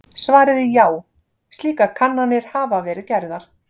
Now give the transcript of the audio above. Svarið er já, slíkar kannanir hafa verið gerðar.